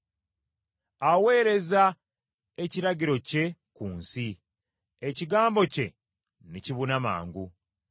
Aweereza ekiragiro kye ku nsi; ekigambo kye ne kibuna mangu.